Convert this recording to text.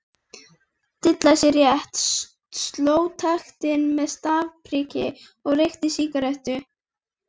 Dillaði sér létt, sló taktinn með stafpriki og reykti sígarettur.